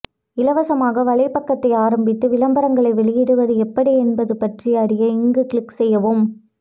இலவசமாக வலைபக்கத்தை ஆரம்பித்து விளம்பரங்களை வெளியிடுவது எப்படி என்பது பற்றி அறிய இங்கு கிளிக் செய்யவும்